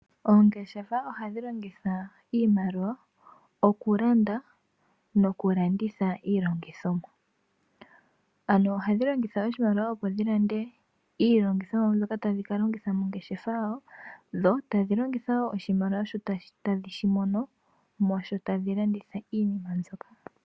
Oongeshefa ohadhi longitha iimaliwa okulanda nokulanditha iilongithonwa